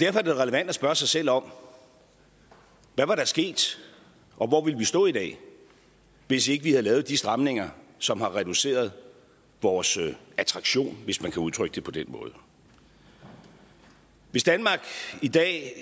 derfor er det da relevant at spørge sig selv om hvad var der sket og hvor ville vi stå i dag hvis ikke vi havde lavet de stramninger som har reduceret vores attraktion hvis man kan udtrykke det på den måde hvis danmark i dag